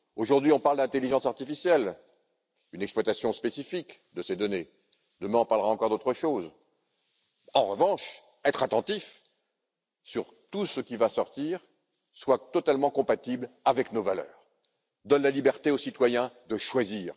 Aujourd'hui, on parle d'intelligence artificielle, une exploitation spécifique de ces données, demain on parlera encore d'autre chose. En revanche, il faudra être attentifs à ce que tout ce qui sort soit totalement compatible avec nos valeurs et donne la liberté aux citoyens de choisir.